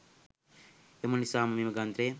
එම නිසාම මෙම ග්‍රන්ථය